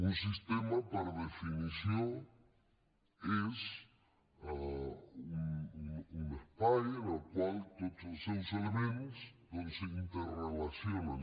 un sistema per definició és un espai en el qual tots els seus elements s’interrelacionen